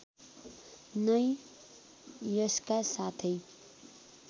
नै यसका साथै